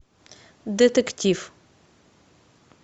детектив